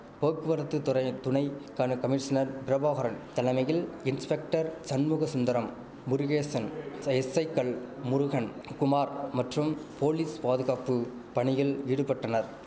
போக்குவரத்து துறையின் துணை கனு கமிஷினர் பிரபாகரன் தலைமையில் இன்ஸ்பெக்டர் சண்முகசுந்தரம் முருகேசன் எஸ்ஸைக்கள் முருகன் குமார் மற்றும் போலிஸ் பாதுகாப்பு பணியில் ஈடுபட்டனர்